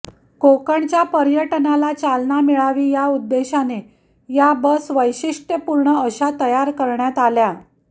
कोकणच्या पर्यटनाला चालना मिळावी या उद्देशाने या बस वैशिष्टयपूर्ण अशा तयार करण्यात आल्या